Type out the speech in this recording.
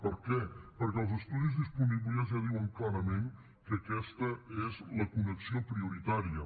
per què perquè els estudis disponibles ja diuen clarament que aquesta és la connexió prioritària